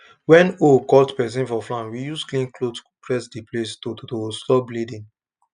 when hoe cut person for farm we use clean cloth press the place to to stop bleeding